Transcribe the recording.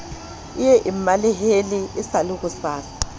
ye e mmalehele e sa